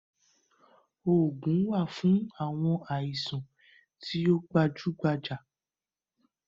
Òògùn wà fún àwọn àìsàn tí ó gbajú gbajà